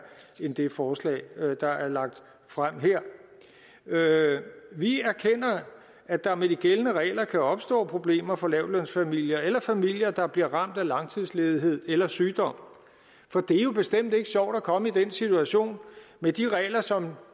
end med det forslag der er lagt frem her vi erkender at der med de gældende regler kan opstå problemer for lavtlønsfamilier eller familier der bliver ramt af langtidsledighed eller sygdom for det er jo bestemt ikke sjovt at komme i den situation med de regler som